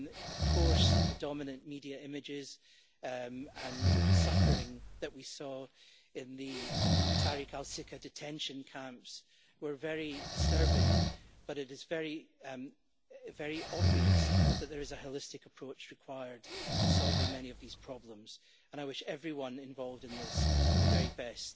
Of course, the dominant media images and suffering that we saw in the Tariq al Sika detention camps were very disturbing, but it is very, very obvious that there is a holistic approach required to solving many of these problems, and I wish everyone involved in this the very best.